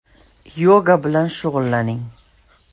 Yoga bilan shug‘ullaning.